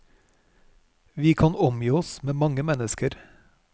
Vi kan omgi oss med mange mennesker.